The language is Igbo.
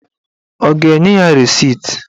Ọ ga-enye ya resit?